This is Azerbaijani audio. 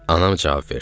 Anam cavab verdi.